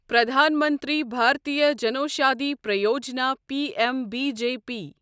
Pradhan Mantri Bhartiya Janaushadhi Pariyojana PM B JP